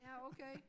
Ja okay